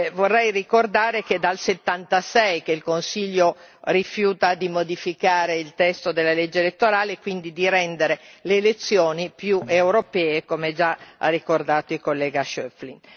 Vorrei ricordare che è dal '76 che il Consiglio rifiuta di modificare il testo della legge elettorale e quindi di rendere le elezioni più europee, come ha già ricordato il collega Schöpflin.